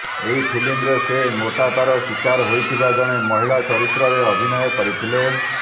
ଏହି ଫିଲ୍ମରେ ସେ ମୋଟାପାର ଶିକାର ହୋଇଥିବା ଜଣେ ମହିଳା ଚରିତ୍ରରେ ଅଭିନୟ କରିଥିଲେ